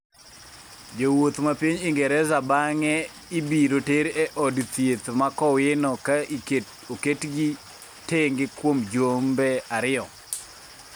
jowuoth ma piny Ingreza bang'e ibiro ter e od thieth ma Kowino ka oketgi tenge kuom jumbe ariyo